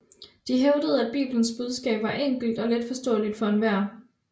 De hævdede at Bibelens budskab var enkelt og letforståelig for enhver